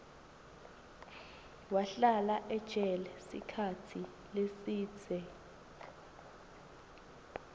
wahlala ejele sikhatsi lesidze